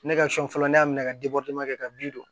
Ne ka sɔn fɔlɔ ne y'a minɛ ka kɛ ka bin don